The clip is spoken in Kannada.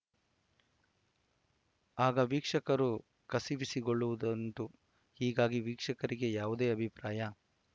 ಆಗ ವೀಕ್ಷಕರು ಕಸಿವಿಸಿಗೊಳ್ಳುವುದುಂಟು ಹೀಗಾಗಿ ವೀಕ್ಷಕರಿಗೆ ಯಾವುದೇ ಅಭಿಪ್ರಾಯ